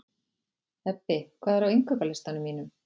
Ebbi, hvað er á innkaupalistanum mínum?